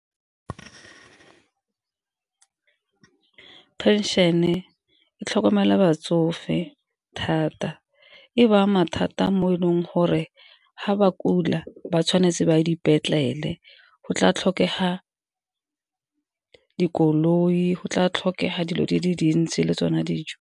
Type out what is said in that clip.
Phenšene e tlhokomela batsofe thata e ba ama thata mo e leng gore fa ba kula ba tshwanetse ba dipetlele, go tla tlhokega dikoloi go tla tlhokega dilo di le dintsi le tsone dijo.